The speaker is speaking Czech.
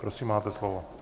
Prosím, máte slovo.